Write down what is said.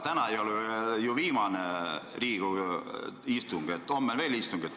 Täna ei ole ju viimane Riigikogu istung, homme on ka istung.